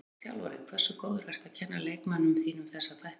Ef þú ert þjálfari, hversu góður ertu að kenna leikmönnunum þínum þessa þætti?